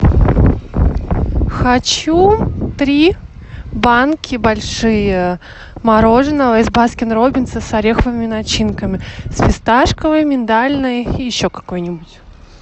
хочу три банки большие мороженого из баскин робинса с ореховыми начинками с фисташковой миндальной и еще какой нибудь